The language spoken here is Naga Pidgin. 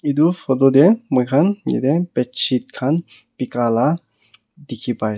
etu photo tey moi khan yate bedsheet khan beka la dekhe pai.